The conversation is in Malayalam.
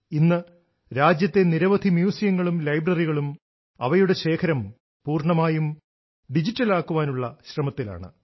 ഇന്ന് രാജ്യത്തെ നിരവധി മ്യൂസിയങ്ങളും ലൈബ്രറികളും അവയുടെ ശേഖരം പൂർണ്ണമായും ഡിജിറ്റലാക്കാനുള്ള ശ്രമത്തിലാണ്